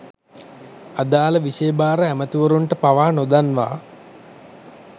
අදාළ විෂය භාර ඇමැතිවරුන්ට පවා නොදන්වා